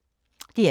DR1